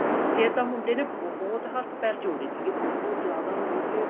ਫੇਰ ਤਾਂ ਮੁੰਡੇ ਨੇ ਬਹੁਤ ਹੱਥ ਪੈਰ ਜੋੜੇ ਬਹੁਤ ਜਿਆਦਾ ਮਤਲਬ ਕਿ